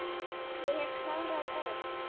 Ég hef klárað Örn.